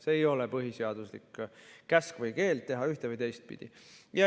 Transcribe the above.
See ei ole põhiseaduslik käsk või keeld teha ühte- või teistpidi.